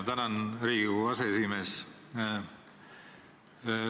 Tänan, Riigikogu aseesimees!